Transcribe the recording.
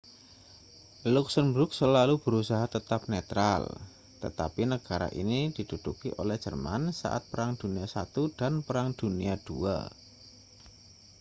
luksemburg selalu berusaha tetap netral tetapi negara ini diduduki oleh jerman saat perang dunia i dan perang dunia ii